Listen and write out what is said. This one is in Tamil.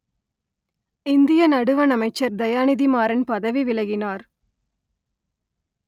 இந்திய நடுவண் அமைச்சர் தயாநிதி மாறன் பதவி விலகினார்